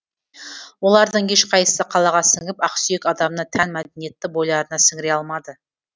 олардың ешқайсысы қалаға сіңіп ақсүйек адамына тән мәдениетті бойларына сіңіре алмады